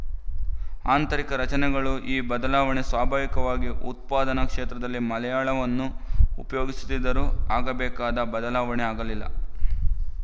ಆಂತರಿಕ ರಚನೆಗಳು ಈ ಬದಲಾವಣೆ ಸ್ವಾಭಾವಿಕವಾಗಿ ಉತ್ಪಾದನಾ ಕ್ಷೇತ್ರದಲ್ಲಿ ಮಲಯಾಳವನ್ನು ಉಪಯೋಗಿಸುತ್ತಿದ್ದರೂ ಆಗಬೇಕಾದ ಬದಲಾವಣೆ ಆಗಲಿಲ್ಲ